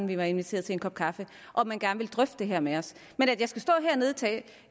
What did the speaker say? vi var inviteret til en kop kaffe og man gerne ville drøfte det her med os men at jeg skal stå